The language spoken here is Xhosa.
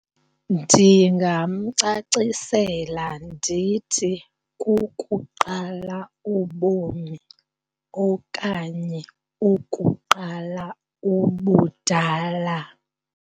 Ndingamcacisela ndithi kukuqala ubomi okanye ukuqala ubudala.